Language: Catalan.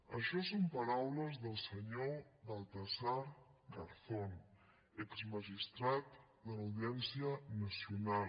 això són paraules del senyor baltasar garzón exmagistrat de l’audiència nacional